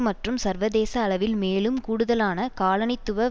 மற்றும் சர்வதேச அளவில் மேலும் கூடுதலான காலனித்துவ